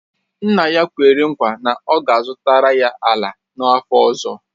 Nna ya kwere nkwa na ọ ga-azụtara ya ala n’afọ ọzọ